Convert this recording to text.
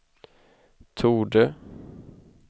torde